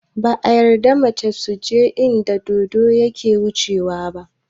Ba a yarda mata suje inda dodo yake wucewa ba